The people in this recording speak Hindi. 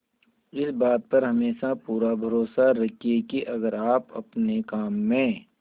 इस बात पर हमेशा पूरा भरोसा रखिये की अगर आप अपने काम में